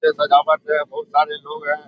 ते सजावट है बहुत सारे लोग हैं। नोइसेक